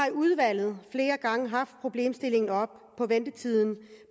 i udvalget haft problemstillingen om ventetiden